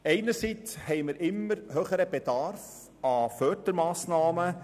Einerseits haben wir einen immer höheren Bedarf an Fördermassnahmen.